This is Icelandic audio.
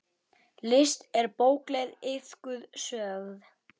List er bókleg iðkun sögð.